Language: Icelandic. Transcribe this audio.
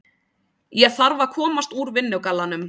Ég þarf að komast úr vinnugallanum.